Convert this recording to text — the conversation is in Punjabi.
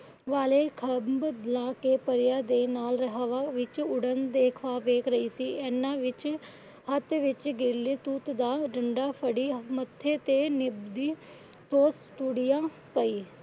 ਵਾਲੇ ਖਾਂਬ ਲੈ ਕੇ ਪਰੀਆਂ ਦੇ ਨਾਲ ਹਵਾ ਦੇ ਵਿੱਚ ਉੱਡਣ ਦੇ ਖ਼ਵਾਬ ਦੇਖ ਰਹੀ ਸੀ। ਏਨਾ ਵਿੱਚ ਹੱਥ ਵਿੱਚ ਗਿਲੇ ਤੂਤ ਦਾ ਡੰਡਾ ਫੜੀ ਮੱਥੇ ਤੇ